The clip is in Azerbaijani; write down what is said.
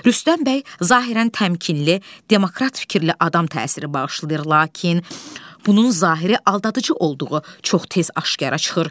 Rüstəm bəy zahirən təmkinli, demokrat fikirli adam təsiri bağışlayır, lakin bunun zahiri aldadıcı olduğu çox tez aşkara çıxır.